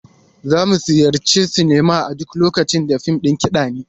Za mu ziyarci silima a duk lokacin da fim ɗin kiɗa ne.